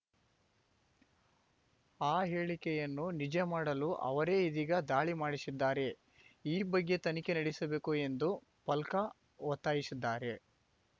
ಆ ಹೇಳಿಕೆಯನ್ನು ನಿಜ ಮಾಡಲು ಅವರೇ ಇದೀಗ ದಾಳಿ ಮಾಡಿಸಿದ್ದಾರೆ ಈ ಬಗ್ಗೆ ತನಿಖೆ ನಡೆಸಬೇಕು ಎಂದು ಫಲ್ಕಾ ಒತ್ತಾಯಿಸಿದ್ದಾರೆ